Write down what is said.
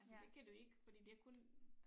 Altså det kan du ikke fordi det er kun